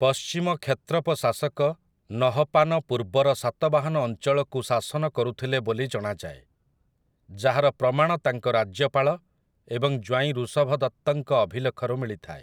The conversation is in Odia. ପଶ୍ଚିମ କ୍ଷତ୍ରପ ଶାସକ ନହପାନ ପୂର୍ବର ସାତବାହନ ଅଞ୍ଚଳକୁ ଶାସନ କରୁଥିଲେ ବୋଲି ଜଣାଯାଏ, ଯାହାର ପ୍ରମାଣ ତାଙ୍କ ରାଜ୍ୟପାଳ ଏବଂ ଜ୍ୱାଇଁ ଋଷଭଦତ୍ତଙ୍କ ଅଭିଲେଖରୁ ମିଳିଥାଏ ।